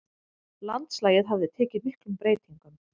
Landslagið hafði tekið miklum breytingum.